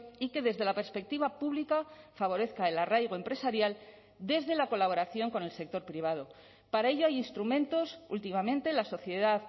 y que desde la perspectiva pública favorezca el arraigo empresarial desde la colaboración con el sector privado para ello hay instrumentos últimamente la sociedad